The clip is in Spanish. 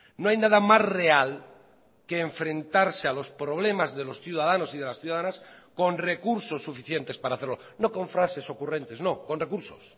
no hay nada más real que enfrentarse a los problemas de los ciudadanos y de las ciudadanas con recursos suficientes para hacerlo no con frases ocurrentes no con recursos